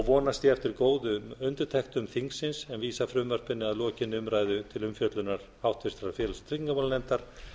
vonast ég eftir góðum undirtektum þingsins en vísa frumvarpinu að lokinni umræðu til umfjöllunar háttvirtur félags og tryggingamálanefndar